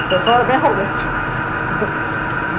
O pessoal era bem arrogante.